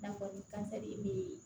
N'a fɔ ni kansɛri be